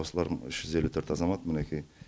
осылардың үш жүз елу төрт азамат мінекей